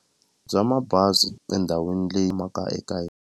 Bya mabazi endhawini leyi yimaka eka .